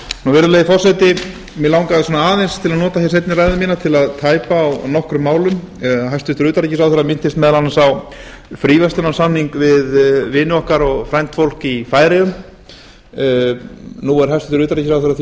virðulegi forseti mig langaði svona aðeins til að nota hér seinni ræðu mína til að tæpa á nokkrum málum hæstvirts utanríkisráðherra minntist meðal annars á fríverslunarsamning við vini okkar og frændfólk í færeyjum nú er hæstvirtur utanríkisráðherra því